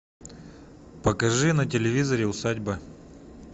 покажи на телевизоре усадьба